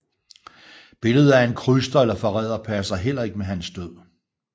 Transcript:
Billedet af en kryster eller forræder passer heller ikke med hans død